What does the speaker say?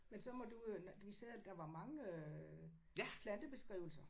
Men så må du jo vi sad der var mange øh plantebeskrivelser